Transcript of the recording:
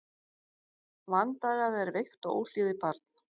Vandagað er veikt og óhlýðið barn.